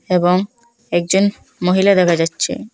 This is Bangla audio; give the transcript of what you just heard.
এবং একজন মহিলা দেখা যাচ্ছে।